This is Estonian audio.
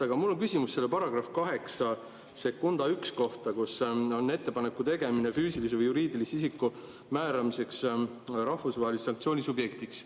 Aga mul on küsimus § 81 kohta, "Ettepaneku tegemine füüsilise või juriidilise isiku määramiseks rahvusvahelise sanktsiooni subjektiks".